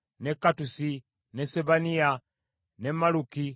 ne Kattusi, ne Sebaniya, ne Malluki,